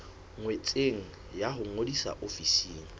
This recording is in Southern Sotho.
ngotsweng ya ho ngodisa ofising